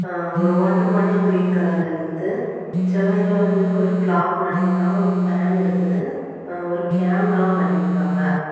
ஒரு water bottle green கலர்ல இருக்குது. செவர்ல வந்து ஒரு கிளாக் மாட்டிருக்காங்க. ஒரு ஃபேன் இருக்குது. ஒரு கேமராவும் மாட்டி இருக்காங்க.